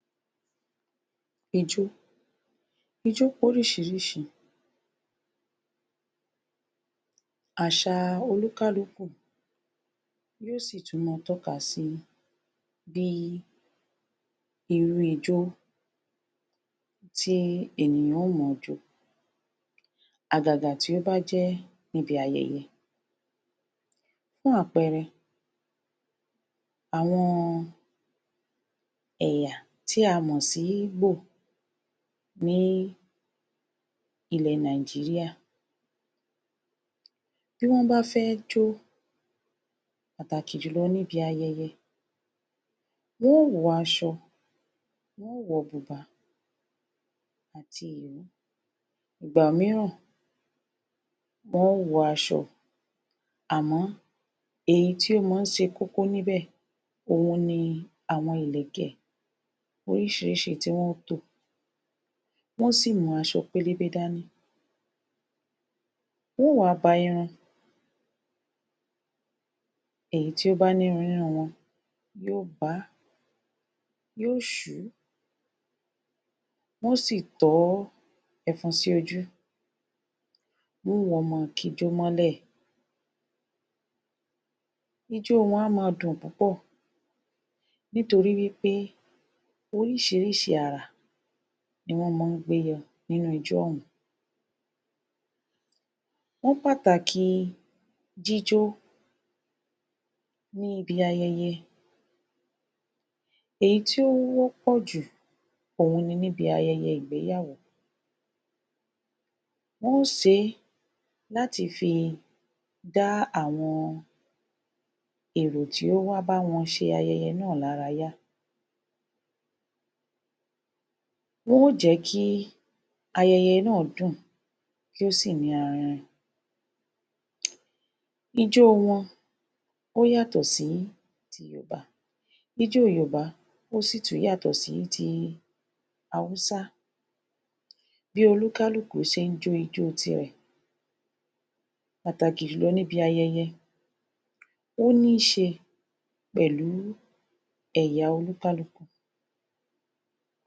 ijó ijó pé oríșìíríșìí, àșà oníkálukú yóó sì tún má a tóka síi [c?] bí irú ijó tí ènìyàn ó mọ jó àgàgà tí ó bájẹ́ ibi ayẹyẹ. fún àpẹrẹ àwϙn ẹ̀yà tí a mò sí ígbò ní ilẹ̀ Nigeria tí wϙ́n bá fé n jóó, pàtàkì jùlϙ ní ibi ayẹyẹ. wϙn óò wϙ așϙ, wϙn óò wϙ bùbá àti ìró. ìgbàmíràn wϙn óò wϙ așϙ, àmó èyí tí ó mó n șe kókó níbẹ̀ òhun ni àwϙn ilẹ̀kẹ̀ oríșìíríșìí tí wϙn ó tò. Wϙn ó sì mú așϙ pélébé dání, wϙn óò wá ba irun, èyí tó bá ní irun nínú wϙn yóò baá, yóò sùú wϙn ó sì tϙ́ ẹfun sí ojú. Wϙ́n wá máa ki ijó mólẹ̀, ijó wϙn a máa dùn púpϙ̀ nítorí wípé oríșìíríșìí àrà ni wϙ́n má ń gbé yϙ nínú ijó ϙ̀ún. wϙ́n pàtàkì jíjó níbi ayẹyẹ. èyí tí ó wϙ́pϙ̀ jù òhun nibi ayẹyẹ ìgbéyàwó. Wϙn ó sé e láti fi dá àwϙn èrò tí ó wá bá wϙn se ayẹyẹ náà lárayá. Wϙn ó jẹ̀ kíí ayẹyẹ náà dún ùn, kó sì ní arinrin ijó wϙn ó yàtϙ̀ sí ti yorùbá ijó yorùbá ó sì tún yàtϙ̀ sí ti haúsá bí oníkálúkù șe ńjó ijó tirè pàtàkì júlϙ níbi ayẹyẹ ó ní șe pẹ̀lú ẹ̀yà o ní kálukú.